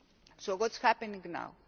So what is happening